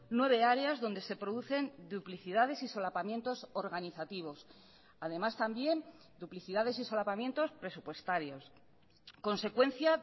nueve áreas donde se producen duplicidades y solapamientos organizativos además también duplicidades y solapamientos presupuestarios consecuencia